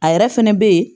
A yɛrɛ fɛnɛ be yen